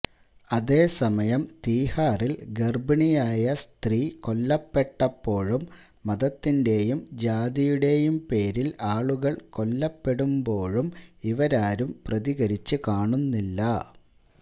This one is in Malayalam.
അതേസമയം തിഹാറിൽ ഗർഭിണിയായ സ്ത്രീ കൊല്ലപ്പെട്ടപ്പോഴും മതത്തിന്റെയും ജാതിയുടെയും പേരിൽ ആളുകൾ കൊല്ലപ്പെടുമ്പോഴും ഇവരാരും പ്രതികരിച്ചു കാണുന്നില്ല